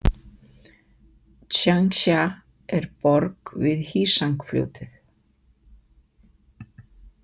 Tsjangsja er borg við Hsíang- fljótið.